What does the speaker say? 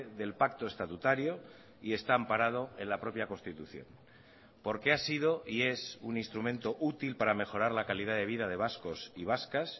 del pacto estatutario y está amparado en la propia constitución porque ha sido y es un instrumento útil para mejorar la calidad de vida de vascos y vascas